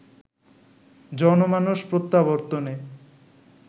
জনমানস প্রত্যাবর্তনে